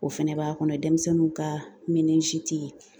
O fɛnɛ b'a kɔnɔ denmisɛnninw ka